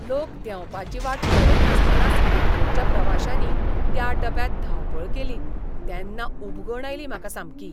लोक देंवपाची वाट पळयनासतनाच मेट्रोच्या प्रवाश्यांनी त्या डब्यांत धांवपळ केली तेन्ना उबगण आयली म्हाका सामकी.